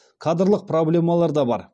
кадрлық проблемалар да бар